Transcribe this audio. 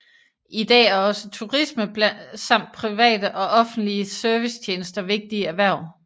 I dag er også turisme samt private og offentlige servicetjenester vigtige erhverv